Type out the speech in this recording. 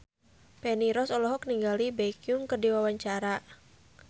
Feni Rose olohok ningali Baekhyun keur diwawancara